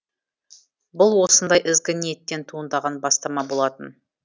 бұл осындай ізгі ниеттен туындаған бастама болатын